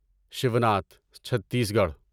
Shivnath Chhattisgarh